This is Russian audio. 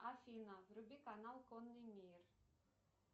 афина вруби канал конный мир